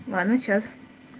ладно сейчас